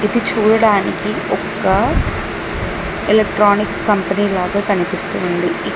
ఇది చూడడానికి ఒక్క ఎలక్ట్రానిక్స్ కంపెనీ లాగా కనిపిస్తూ ఉంది ఇక్--